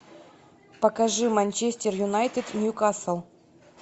покажи манчестер юнайтед ньюкасл